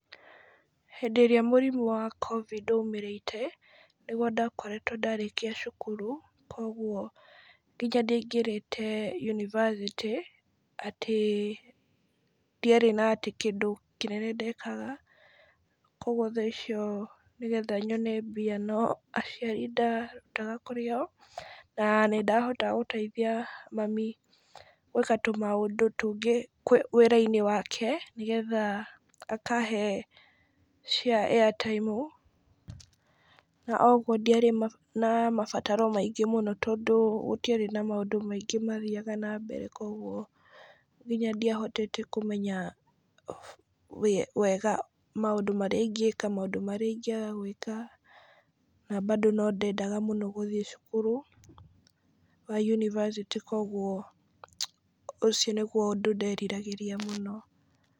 Hĩndĩ ĩrĩa mũrimũ wa Covid waumĩrĩte , nĩgwo ndakoretwo ndarĩkĩa cukuru, kũgwo nginya ndiaingĩrĩte yunivasĩtĩ , atĩ ndiarĩ na kĩndũ kĩnene ndekaga , kũgwo thaa icio nĩgetha nyone mbia no aciari ndarutaga kũrĩ o, na nĩ ndahotaga gũteithia mami gwĩka tũmaũndũ tũngĩ wĩra-inĩ wake, nĩgetha akahe cia Airtime , na ũgwo ndiarĩ na mabataro maingĩ mũno, tondũ gũtiarĩ na mũndũ maingĩ mathiaga na mbere , kogwo nginya ndiahotete kũmenya wega maũndũ marĩa ĩngĩĩka ,maũndũ marĩa ingĩaga gwĩka, na bado no ndendaga mũno gũthiĩ cukuru wa yunivasĩtĩ, kogwo ũcio nĩgwo ũndũ nderiragĩria mũno.